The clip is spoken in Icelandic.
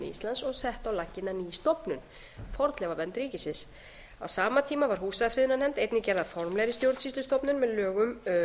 íslands og sett á laggirnar ný stofnun fornleifavernd ríkisins á sama tíma var húsafriðunarnefnd einnig gerð að formlegri stjórnsýslustofnun með lögum